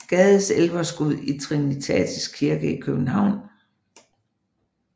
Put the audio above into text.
Gades Elverskud i Trinitatis Kirke i København